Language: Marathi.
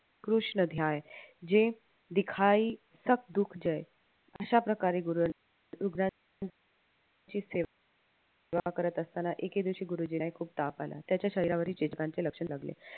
कृष्णध्याय जे अश्या प्रकारे सेवा करत असताना एके दिवशी गुरुजींना खूप ताप आला त्याच्या शरीरावरही लक्षण